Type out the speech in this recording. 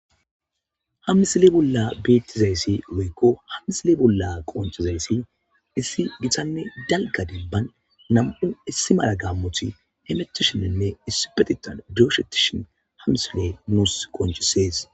Ha misile bolla beettizayssi loykko hamisile bolla qonchizayssi issi gitanne dalgaden ban nam7u issi mala gammoti hemetishinenne issi petitan dooshetishin hamisile nuus qonchisees.